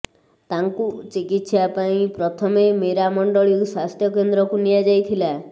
ତାଙ୍କୁ ଚିକିତ୍ସା ପାଇଁ ପ୍ରଥମେ ମେରାମଣ୍ଡଳୀ ସ୍ୱାସ୍ଥ୍ୟ କେନ୍ଦ୍ରକୁ ନିଆଯାଇଥିଲା